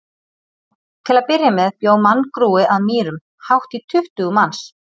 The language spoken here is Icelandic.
Til að byrja með bjó manngrúi að Mýrum, hátt í tuttugu manns.